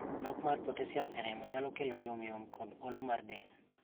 Nok mar potassium e remo nyalo kelo yom yom kod olo mar del.